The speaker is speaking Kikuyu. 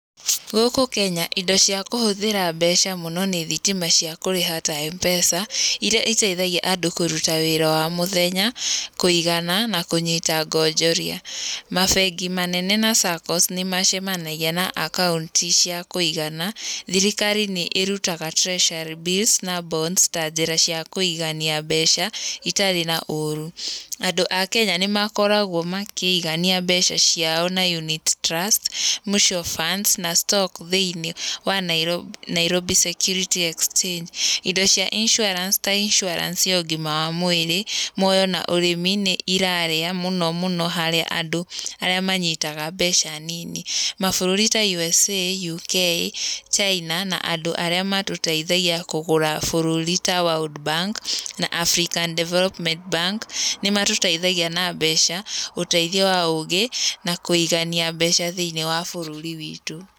Gũkũ Kenya, indo ciakũhũtĩra mbeca mũno nĩ thitima ciakũrĩha ta mpesa, irira itaithagia andũ kũruta wĩra wa mũthenya kũigana, na kũnyitanga onjoria. Mabengi manene na saccos nĩmacemanagia na akaunti cia kũigana. Thirikari nĩ ĩrutaga treasury bills na bonds ta njĩra ciakũigania mbeca, itarĩ na ũru. Andũ a Kenya nĩmakoragwo makĩigania mbeca ciao na unit trust, mutual funds na stocks thĩinĩ wa Nairobi Security Exchange. Indo cia insurance ta insurance ya ũgima wa mwĩrĩ, mwoyo na ũrĩmi nĩ irarĩa mũno mũno harĩa andũ arĩa manyitaga mbeca nini. Mabũrũri ta U.S.A, U.K, China na andũ arĩa matũteithagia kũgũra bũrũri ta worldbank, na African development bank, nĩmatũteithagia na mbeca, ũteithio wa ũgĩ, nakũigania mbeca thĩinĩ wa bũrũri witũ.